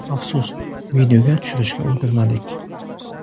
Afsus, videoga tushirishga ulgurmadik”.